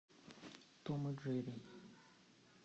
том и джерри